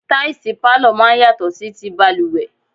Táìsì pálọ̀ máa ń yàtọ̀ sí ti balùwẹ̀.